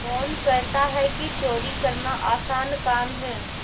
कौन कहता है कि चोरी करना आसान काम है